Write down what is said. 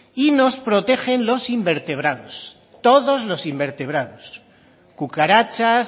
y nos protegen los invertebrados todos los invertebrados cucarachas